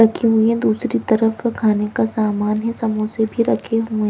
रखी हुई हैं दूसरी तरफ खाने का सामान है समोसे भी रखे हुएं--